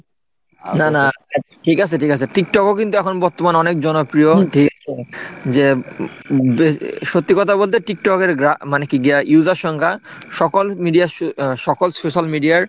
না না ঠিক আছে ঠিক আছে tiktok ও কিন্তু এখন বর্তমান অনেক জনপ্রিয় ঠিক আছে? যে উম সত্যি কথা বলতে tiktok এর মানে কি আহ user সংখ্যা সকল media আর সকল social media আর